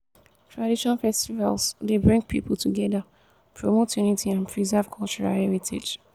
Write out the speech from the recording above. tradition festivals dey bring people together promote unity and preserve cultural heritage.